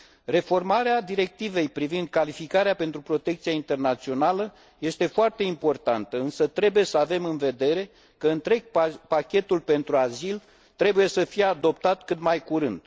Reformarea Directivei privind calificarea pentru protecția internațională este foarte importantă, însă trebuie să avem în vedere că întreg pachetul pentru azil trebuie să fie adoptat cât mai curând.